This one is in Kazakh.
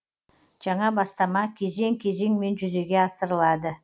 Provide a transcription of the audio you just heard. жаңа бастама кезең кезеңмен жүзеге асырылады